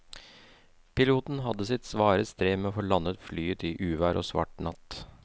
Piloten hadde sitt svare strev med å få landet flyet i uvær og svart natt.